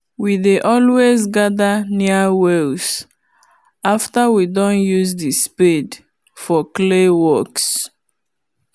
we dey always gather near wells after we doh use the spade for clay works